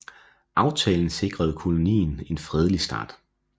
Aftalen sikrede kolonien en fredelig start